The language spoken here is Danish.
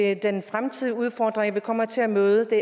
er den fremtidige udfordring vi kommer til at møde